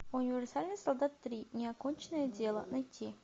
универсальный солдат три неоконченное дело найти